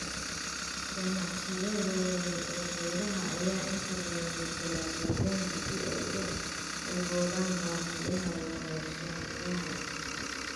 Ganacsiyada waaweyn ee beeraha ayaa inta badan beddela deegaanka si ay u daboolaan baahiyaha warshadaha.